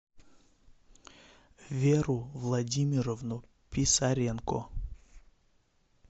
веру владимировну писаренко